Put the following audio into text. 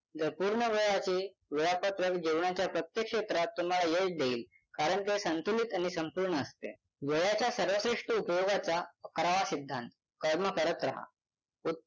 तर पूर्ण वेळाचे वेळापत्रक जीवनाच्या प्रत्येक क्षेत्रात तुम्हाला यश देईल कारण ते संतुलित आणि संपूर्ण असते वेळाच्या सर्वश्रेष्ठ उपयोगाचा अकरावा सिद्धांत कर्म करत राहा उ~